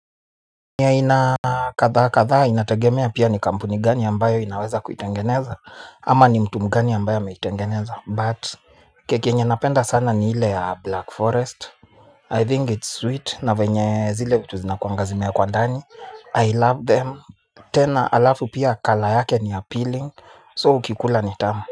Ni aina kadha kadha inategemea pia ni kampuni gani ambayo inaweza kuitengeneza ama ni mtu mgani ambayo ameitengeneza but keki yenye napenda sana ni ile ya black forest I think it's sweet na venye zile vitu zinakuanga zimeekwa ndani I love them tena alafu pia colour yake ni appealing so ukikula ni tamu.